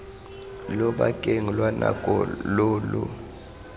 lobakeng lwa nako lo lo